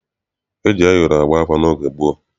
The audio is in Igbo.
E ji ayọrọ agba afa n'oge gboo.